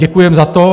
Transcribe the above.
Děkujeme za to.